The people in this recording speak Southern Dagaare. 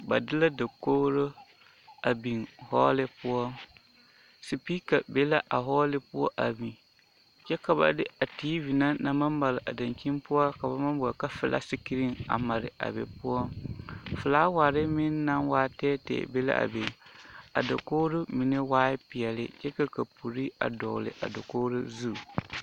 Ba de la dakogro a biŋ hɔɔle poɔ sepeka be l,a hɔɔle poɔ a biŋ kyɛ ka ba de a tiivi na naŋ maŋ mare a dankyini poɔ ka ba boɔle ka filati sikirin a mare a be poɔ filawari meŋ naŋ waa tɛɛtɛɛ be la a be a dakogro mine waa peɛle kyɛ ka kapuri a dɔgle a dakogro zu.